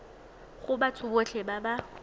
go batho botlhe ba ba